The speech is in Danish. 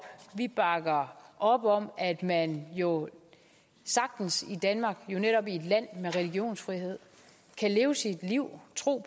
vi bakker op om at man jo sagtens i danmark netop i et land med religionsfrihed kan leve sit liv tro